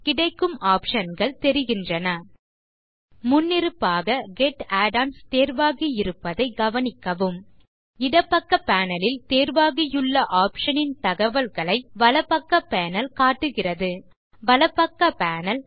கிடைக்கும் optionகள் தெரிகின்றன முன்னிருப்பாக கெட் add ஒன்ஸ் தேர்வாகியிருப்பதைக் கவனிக்கவும் இடப்பக்க பேனல் ல் தேர்வாகியுள்ள ஆப்ஷன் ன் தகவல்களை வலப்பக்க பேனல் காட்டுகிறது வலப்பக்க பேனல்